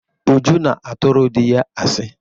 Uju na-atụrụ dị ya asị.